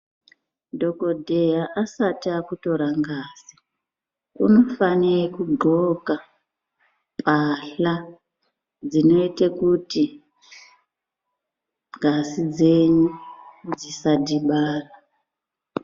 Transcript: Dhokodheya asati akutora ngazi unofanira kugqoka mbahla dzinoite kuti ngazi dzenyu dzisadhibana .